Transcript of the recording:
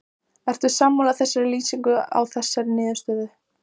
Ertu sammála þeirri lýsingu á þessari niðurstöðu?